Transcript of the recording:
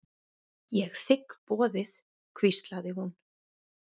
Ég þigg boðið hvíslaði hún.